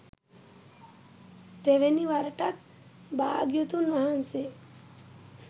තෙවෙනි වරටත් භාග්‍යවතුන් වහන්සේ